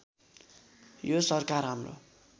यो सरकार हाम्रो